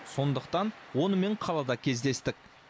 сондықтан онымен қалада кездестік